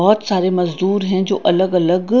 बहोत सारे मजदूर हैं जो अलग अलग--